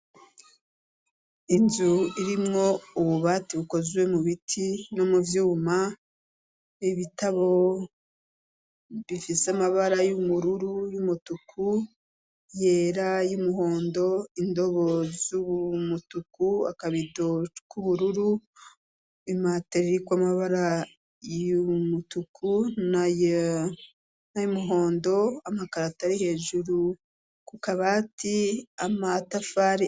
Inzu irimwo ububati bukoziwe mu biti no mu vyuma ibitabo bifise amabara y'umururu y'umutuku yera y'umuhondo indobo z'ubu mutuku akabidok'ubururu imaterike ka amabara y' umutuku na namuhondo amakarata ari hejuru kukabati amatafari.